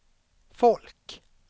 folk